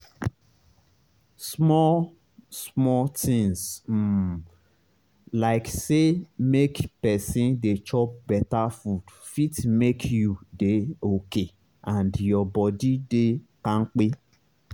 small-small tinz um like say make pesin dey chop beta food fit make you dey okay and your body dey kampe.